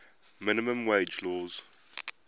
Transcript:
minimum wage laws